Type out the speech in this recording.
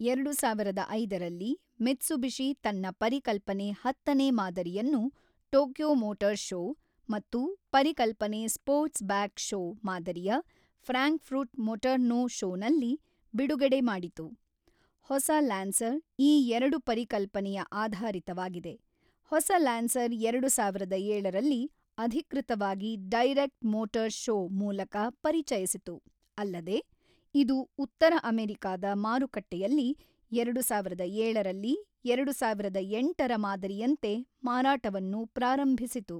ಎರಡು ಸಾವಿರದ ಐದರಲ್ಲಿ ಮಿತ್ಸುಬಿಷಿ ತನ್ನ ಪರಿಕಲ್ಪನೆ ಹತ್ತನೇ ಮಾದರಿಯನ್ನು ಟೊಕ್ಯೊ ಮೊಟರ್ ಶೋ ಮತ್ತು ಪರಿಕಲ್ಪನೆ ಸ್ಪೋರ್ಟ್ ಬ್ಯಾಕ್ ಶೋ ಮಾದರಿಯಫ್ರಾಂಕ್ ಫೃಟ್ ಮೊಟರ್ನೋ ಶೋ ನಲ್ಲಿ ಬಿಡುಗಡೆ ಮಾಡಿತು ಹೊಸ ಲ್ಯಾನ್ಸರ್ ಈ ಎರಡು ಪರಿಕಲ್ಪನೆಯ ಆಧಾರಿತವಾಗಿದೆ ಹೊಸ ಲ್ಯಾನ್ಸರ್ ಎರಡು ಸಾವಿರದ ಏಳರಲ್ಲಿ ಅಧಿಕೃತವಾಗಿ ಡೈರೆಕ್ಟ್ ಮೋಟರ್ ಶೋ ಮೂಲಕ ಪರಿಚಯಿಸಿತು ಅಲ್ಲದೆ ಇದು ಉತ್ತರ ಅಮೆರಿಕಾದ ಮಾರುಕಟ್ಟೆಯಲ್ಲಿ ಎರಡು ಸಾವಿರದ ಏಳರಲ್ಲಿ ಎರಡು ಸಾವಿರದ ಎಂಟರ ಮಾದರಿಯಂತೆ ಮಾರಾಟವನ್ನು ಪ್ರಾರಂಭಿಸಿತು.